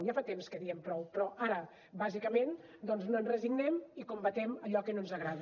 ja fa temps que diem prou però ara bàsicament doncs no ens resignem i combatem allò que no ens agrada